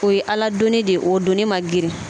O ye Ala doni de ye o doni man girin.